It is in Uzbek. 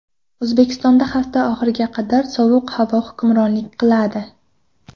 O‘zbekistonda hafta oxiriga qadar sovuq havo hukmronlik qiladi.